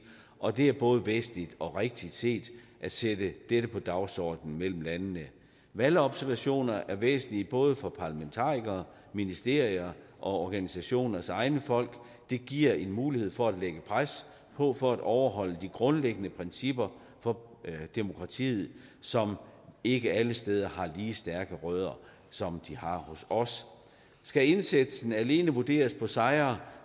og det er både væsentligt og rigtigt set at sætte dette på dagsordenen mellem landene valgobservationer er væsentlige både for parlamentarikere ministerier og organisationers egne folk det giver mulighed for at lægge pres på for at overholde de grundlæggende principper for demokrati som ikke alle steder har lige så stærke rødder som de har hos os skal indsatsen alene vurderes på sejre